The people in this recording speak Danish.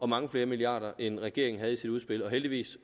mange flere milliarder end regeringen havde i sit udspil og heldigvis